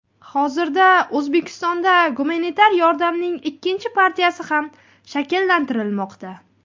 Hozirda O‘zbekistonda gumanitar yordamning ikkinchi partiyasi ham shakllantirilmoqda.